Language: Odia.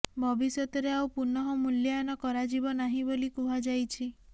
ଭବିଷ୍ୟତରେ ଆଉ ପୁନଃ ମୂଲ୍ୟାୟନ କରାଯିବ ନାହିଁ ବୋଲି କୁହାଯାଇଛି